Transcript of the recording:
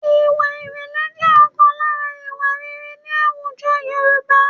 Ìwà ìrẹ̀lẹ̀ jẹ́ ọ̀kan lára ìwà rere ní àwùjọ Yorùbá